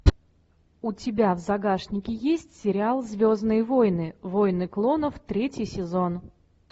у тебя в загашнике есть сериал звездные войны войны клонов третий сезон